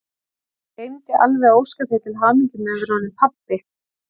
Ég gleymdi alveg að óska þér til hamingju með að vera orðinn pabbi!